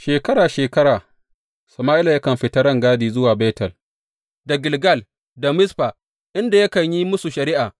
Shekara shekara Sama’ila yakan fita rangadi zuwa Betel, da Gilgal da Mizfa inda yakan yi musu shari’a.